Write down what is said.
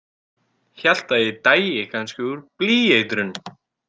Hélt að ég dæi kannski úr blýeitrun.